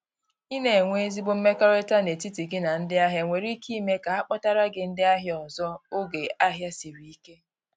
I na enwe ezigbo mmekọrịta n’etiti gị na ndị ahịa nwere ike ime ka ha kpọtara gi ndị ahia ọzọ oge ahia siri ike.